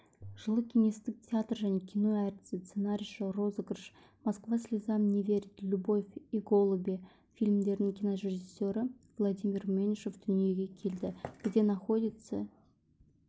жылы кеңестік театр және кино әртісі сценарийші розыгрыш москва слезам неверит любовь иголуби фильмдерінің кинорежиссері владимир меньшов дүниеге келді где находится